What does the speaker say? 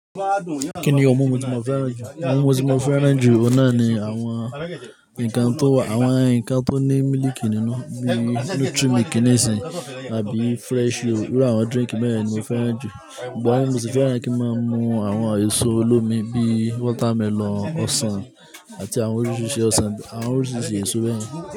Kí ni òun mumu tí mo fẹ́ràn jù? Òun mo ti mo fẹ́ràn jù ọ̀nà ni àwọn nǹkan tó wà, àwọn nǹkan tó ní mílìkì nínú bí Nutri-Milk nìsìnyi àbí Freshyo. Irú àwọn drink bẹ́yẹn ni mo fẹ́ràn jù. Ṣùgbọ́n mo si fẹ́ràn kín máa mú àwọn èṣò olómi bí watermelon, ọsàn àti àwọn oríṣiríṣi ọsàn, àwọn oríṣiríṣi èso bẹ́yẹn.